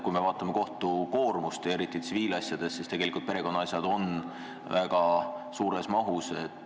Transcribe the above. Kui me vaatame kohtute koormust eriti tsiviilasjades, siis näeme, et perekonnaasjade maht on väga suur.